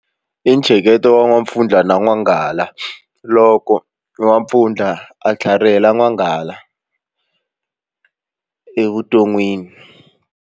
I ntsheketo wa n'wampfundla na n'wanghala loko n'wampfundla a tlharihela n'wanghala evuton'wini.